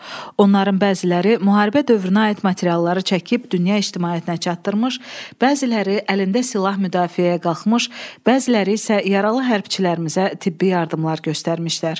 Onların bəziləri müharibə dövrünə aid materialları çəkib dünya ictimaiyyətinə çatdırmış, bəziləri əlində silah müdafiəyə qalxmış, bəziləri isə yaralı hərbiçilərimizə tibbi yardımlar göstərmişlər.